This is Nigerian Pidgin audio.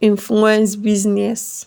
influence business